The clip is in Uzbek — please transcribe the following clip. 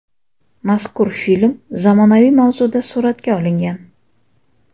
Mazkur film zamonaviy mavzuda suratga olingan.